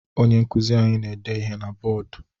Onye nkụzi anyị na-ede ihe na bọọdụ